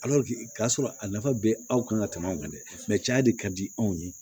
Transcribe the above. k'a sɔrɔ a nafa bɛ anw kan ka tɛmɛ anw kan dɛ mɛ ca de ka di anw ye